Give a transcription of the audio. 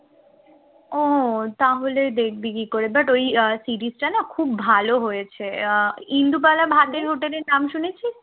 ও তাহলে দেখবে কি করে but ওই series টা না খুব ভালো হয়েছে। আহ ইন্দুবালা ভাতের হোটেলের নাম শুনেছিস